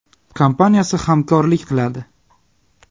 kompaniyasi hamkorlik qiladi.